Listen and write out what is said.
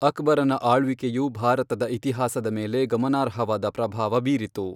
ಅಕ್ಬರನ ಆಳ್ವಿಕೆಯು ಭಾರತೀಯ ಇತಿಹಾಸದ ಮೇಲೆ ಗಮನಾರ್ಹವಾದ ಪ್ರಭಾವ ಬೀರಿತು.